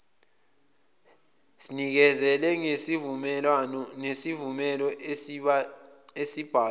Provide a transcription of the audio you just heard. sinikezele ngesivumelo esibhalwe